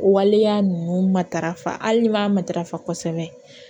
O waleya ninnu matarafa hali b'a matarafa kosɛbɛ